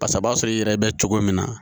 Pasa a b'a sɔrɔ i yɛrɛ bɛ cogo min na